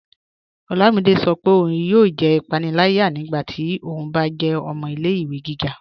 Ọlámídé sọ́ pé óun yóò jẹ́ ipànìlàyà nígbàtí ó bá jẹ́ ọmọ ilẹ̀-ìwẹ̀ gíga